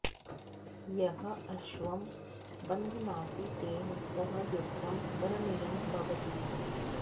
यः अश्वं बध्नाति तेन सह युद्धं करणीयं भवति